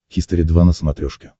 хистори два на смотрешке